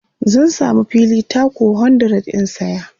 zan samu fili taku 100 in saya